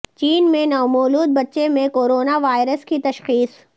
چین میں نومولود بچے میں کورونا وائرس کی تشخیص